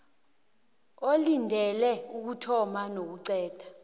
olindele ukuthoma nokuqeda